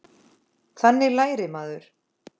Þannig lærir maður.